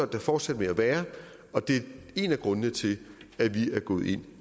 det fortsætte med at være og det er en af grundene til at vi er gået ind